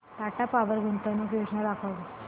Tata Power गुंतवणूक योजना दाखव